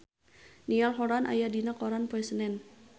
Niall Horran aya dina koran poe Senen